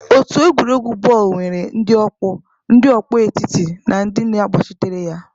Otu egwuregwu bọọlụ nwere ndị ọkpọ, ndị ọkpọ etiti na ndị na-agbachitere ya.